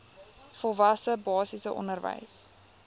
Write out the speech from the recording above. volwasse basiese onderwys